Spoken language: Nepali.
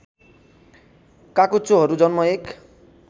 काचुच्चोहरु जन्म एक